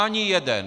Ani jeden!